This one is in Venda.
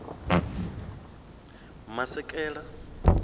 masekela